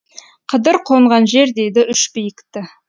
қыдыр қонған жер дейді үш биікті